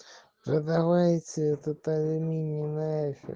продавайте этот алюминий